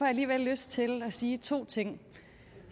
alligevel lyst til at sige to ting